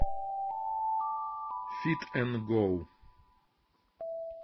фит эн гоу